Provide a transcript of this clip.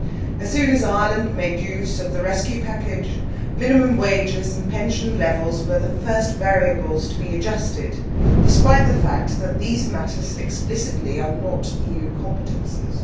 As soon as Ireland made use of the rescue package, minimum wages and pension levels were the first variables to be adjusted, despite the fact that these matters explicitly are not EU competences.